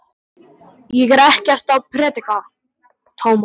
Ég er ekkert að predika, Tómas.